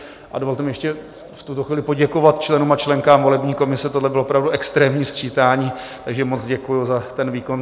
A dovolte mi ještě v tuto chvíli poděkovat členům a členkám volební komise, tohle bylo opravdu extrémní sčítání, takže moc děkuji za ten výkon.